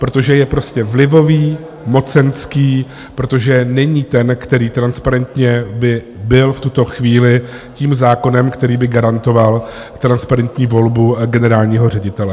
Protože je prostě vlivový, mocenský, protože není ten, který transparentně by byl v tuto chvíli tím zákonem, který by garantoval transparentní volbu generálního ředitele.